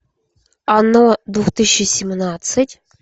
оно две тысячи семнадцать